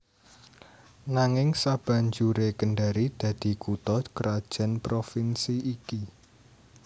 Nanging sabanjuré Kendari dadi kutha krajan Provinsi iki